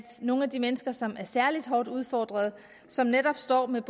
nogle af de mennesker som er særlig hårdt udfordret som netop står med